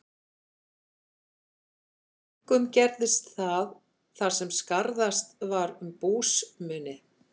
Einkum gerðist það, þar sem skarðast var um búsmuni.